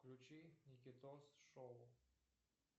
включи никитос шоу